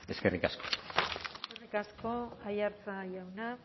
eskerrik asko eskerrik asko aiartza jauna